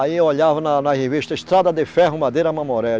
Aí eu olhava na na revista Estrada de Ferro, Madeira, Mamoré.